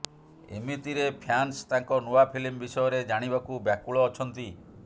ଏମିତିରେଫ୍ୟାନ୍ସ ତାଙ୍କ ନୂଆ ଫିଲ୍ମ ବିଷୟରେ ଜାଣିବାକୁ ବ୍ୟାକୁଳ ଅଛନ୍ତି